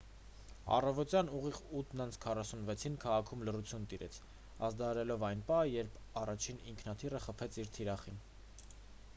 առավոտյան ուղիղ 8:46-ին քաղաքում լռություն տիրեց՝ ազդարարելով այն պահը երբ առաջին ինքնաթիռը խփեց իր թիրախին: